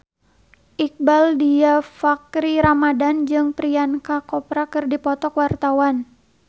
Iqbaal Dhiafakhri Ramadhan jeung Priyanka Chopra keur dipoto ku wartawan